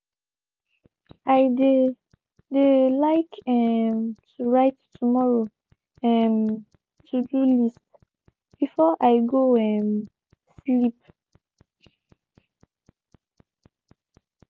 i de de like um to write tomorrow um to-do list before i go um sleep.